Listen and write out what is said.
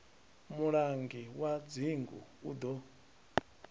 mulangi wa dzingu u ḓo